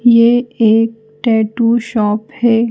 ये एक tattoo shop है।